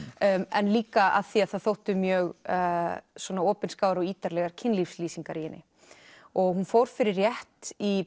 en líka af því það þóttu mjög svona opinskáar og ítarlegar kynlífslýsingar í henni hún fór fyrir rétt í